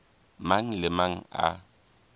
mang le a mang a